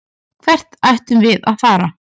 Hvert ættum við að fara?